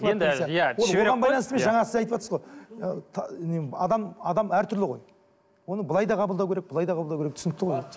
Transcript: енді иә жаңа сіз айтыватсыз ғой адам адам әртүрлі ғой оны былай да қабылдау керек былай да қабылдау керек түсінікті ғой